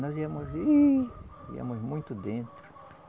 Nós íamos, ihh, íamos muito dentro.